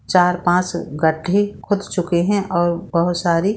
चार-पांच गड्ढे खोद चुके है और बहुत सारी --